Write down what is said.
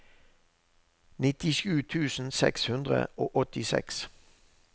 nittisju tusen seks hundre og åttiseks